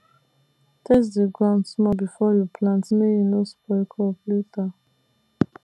test the ground small before you plant make e no spoil crop later